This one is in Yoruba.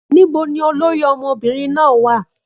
Níbo ni olórí ọmọbìnrin náà wà?